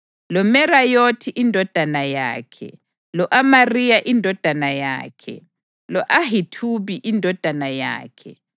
loMerayothi indodana yakhe, lo-Amariya indodana yakhe, lo-Ahithubi indodana yakhe,